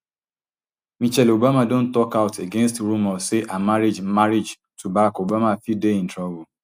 michelle obama don tok out against rumours say her marriage marriage to barack obama fit dey in trouble